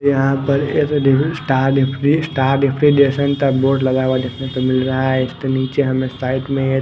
यहां पर एक स्टार रेफरी स्टार रेफ्रिजरेशन का बोर्ड लगा हुआ देखने को मिल रहा है इसके नीचे हमें साइड में--